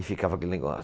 E ficava aquele negócio.